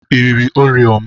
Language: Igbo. I riri oreo m?